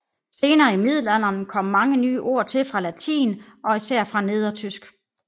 Senere i middelalderen kom mange nye ord til fra latin og især fra nedertysk